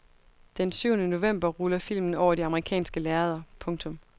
Den syvende november ruller filmen over de amerikanske lærreder. punktum